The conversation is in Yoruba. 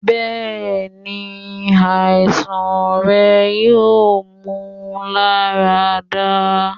bẹẹni, aisan rẹ yoo mu larada